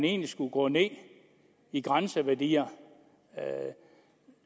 egentlig skulle gå ned i grænseværdier